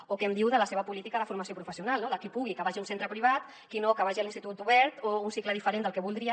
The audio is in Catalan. o què em diu de la seva política de formació professional no de qui pugui que vagi a un centre privat qui no que vagi a l’institut obert o a un cicle diferent del que voldria